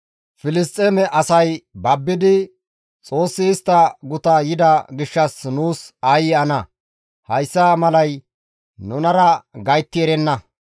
Filisxeeme asay babbidi, «Xoossi istta guta yida gishshas nuus aayye ana! Hayssa malay nunara gaytti erenna.